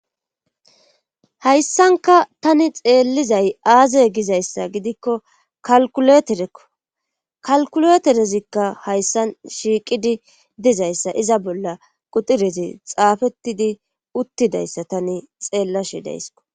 hayssanka tani xeellizay aaze gizayssa gidikko kalkuleterekko kalkuleterezikka hayssan shiiqidi dizayssa iza bolla qudirezi xaafettidi uttidayssa tani xeellashidayssko